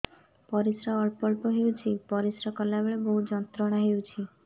ପରିଶ୍ରା ଅଳ୍ପ ଅଳ୍ପ ହେଉଛି ପରିଶ୍ରା କଲା ବେଳେ ବହୁତ ଯନ୍ତ୍ରଣା ହେଉଛି